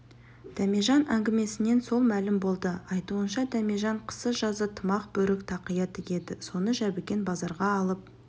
дәмежан әңгімесінен сол мәлім болды айтуынша дәмежан қысы-жазы тымақ бөрік тақия тігеді соны жәбікен базарға алып